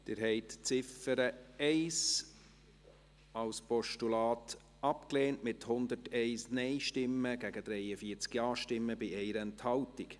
Sie haben die Ziffer 1 als Postulat abgelehnt, mit 43 Ja- zu 101 Nein-Stimmen bei 1 Enthaltung.